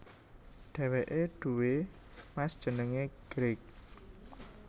Dheweke duwé Mas jenenge Greg